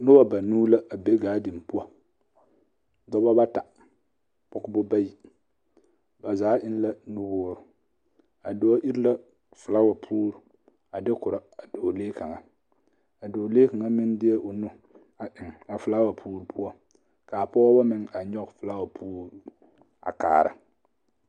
Noba anuu la a be ɡaadeni poɔ dɔba bata pɔɡebɔ bayi ba zaa eŋ la nuwoori a dɔɔ iri la felaawa poori a de korɔ a dɔɔlee kaŋa a dɔɔlee kaŋa meŋ deɛ o nu a eŋ a felaawa poori poɔ ka a pɔɡeba meŋ nyɔɡe felaawa poori a kaara.